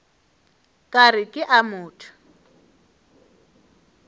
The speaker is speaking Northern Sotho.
ka re ke a motho